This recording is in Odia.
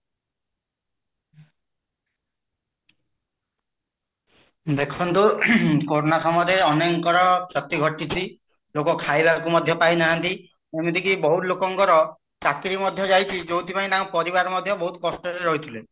ଦେଖନ୍ତୁ କୋରୋନା ସମୟରେ ଅନେକ ଙ୍କର କ୍ଷତି ଘଟିଛି ଲୋକ କହିବାକୁ ମଧ୍ୟ ପାଇନାହାନ୍ତି ଯେମିତି ବହୁତ ଲୋକଙ୍କର ଚାକିରି ମଧ୍ୟ ଯାଇଛି ଯୋଉଠି ପାଇଁ ତାଙ୍କ ପରିବାର ମଧ୍ୟ ବହୁତ କଷ୍ଟ ରେ ରହିଥିଲେ